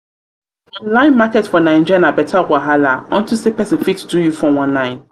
online market for naija na better wahala unto say pesin fit do you 419.